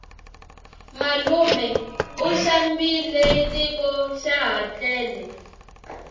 malume u xambile tiko xaha tlele